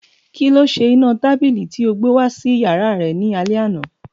Kíló se iná tábìlì tí o gbé wá sí yàrá rẹ ní alẹ́ àná